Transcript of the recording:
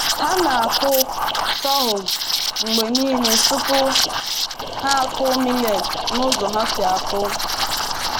Ha na-akụ sorghum mgbe niile tupu ha akụ millet n’ụzọ ha si akụ.